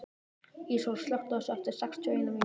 Íssól, slökktu á þessu eftir sextíu og eina mínútur.